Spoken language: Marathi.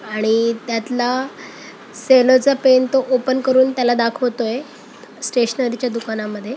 आणि त्यातला सेलो चा पेन तो ओपन करून त्याला दाखवतोय स्टेशनरी च्या दुकानामध्ये.